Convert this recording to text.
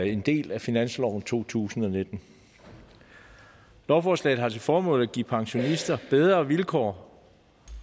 en del af finansloven for to tusind og nitten lovforslaget har til formål at give pensionister bedre vilkår